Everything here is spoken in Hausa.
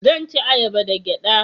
zan ci ayaba da gyada